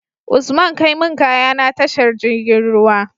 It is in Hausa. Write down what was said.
Usman kai mun kaya na tashar jirgin ruwa